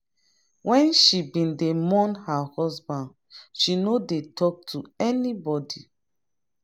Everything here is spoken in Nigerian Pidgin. wen she bin dey mourn her husband she no dey talk to anybody.